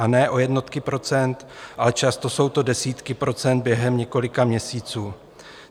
A ne o jednotky procent, ale často jsou to desítky procent během několika měsíců.